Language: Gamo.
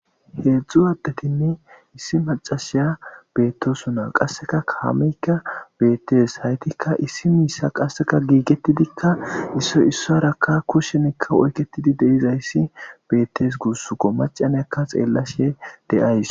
Heedzdzu addetinne issi macashiya beettosu na qasseka kaameykka beettes haytikka issi miissa qasseka giigettidikka issoy issayarakka kushenikka oyketidi deizayssi beettes guussuko macanyakka xeellashe deays.